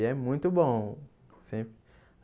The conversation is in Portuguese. E é muito bom.